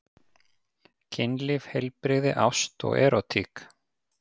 Kynlíf, heilbrigði, ást og erótík.